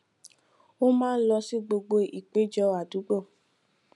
ó máa ń lọ sí gbogbo ìpéjọ àdúgbò